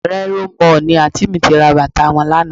Reno Mall ni Àǹtí mi ti ra bàtà wọn lánàá